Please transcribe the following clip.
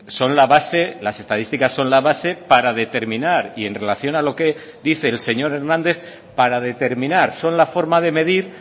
son la base las estadísticas son la base para determinar y en relación a lo que dice el señor hernández para determinar son la forma de medir